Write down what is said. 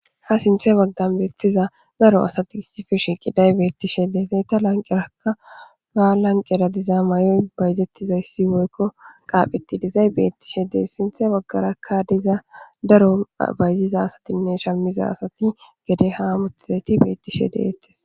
ha sinthe baggani betiza daro assati issipe shiqizayibetishe deyesi. Hageta lanqeraka mayoyi bayizetidayisi woyiko qapheti dizayis betishe desi sintha bagaraka diza darro bayizizane shamidda asati gede ha hamutishe dizayiti betishe detesi.